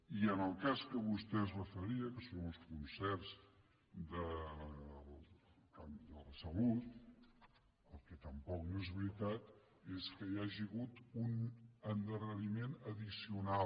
i en el cas a què vostè es referia que són els concerts en el camp de la salut el que tampoc no és veritat és que hi hagi hagut un endarreriment addicional